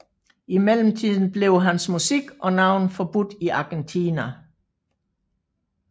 I mellemtiden blev hans musik og navn forbudt i Argentina